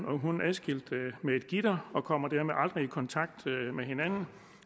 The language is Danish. og hund adskilt med et gitter og kommer dermed aldrig i kontakt med hinanden